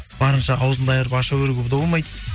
барынша ауызыңды айырып аша беруге де болмайды